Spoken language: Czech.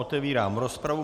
Otevírám rozpravu.